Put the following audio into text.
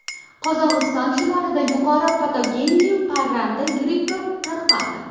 Qozog‘iston shimolida yuqori patogenli parranda grippi tarqaldi.